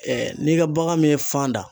Ɛɛ n'i gabagan min ye fan da